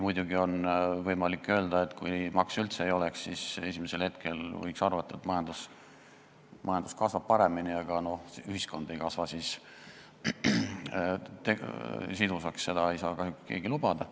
Muidugi, kui makse üldse ei oleks, siis esimesel hetkel võiks arvata, et majandus kasvab paremini, aga ühiskond ei kasvaks siis sidusaks, seda ei saa kahjuks keegi lubada.